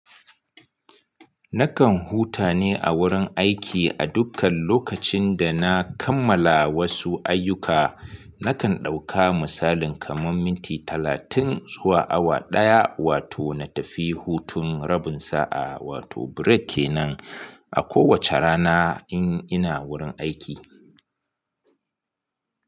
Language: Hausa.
Nakan huta ne a wurin aiki a dukkan lokacin da na kammala wasu ayyuka. Nakan ɗauka misalin kamar minti talatin zuwa awa ɗaya, wato na tafi hutun rabin sa'a wato break kenan a kowace rana in ina wurin aiki.